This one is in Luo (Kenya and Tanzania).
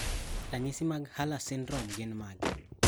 Ranyisi mag Hurler syndrome gin mage?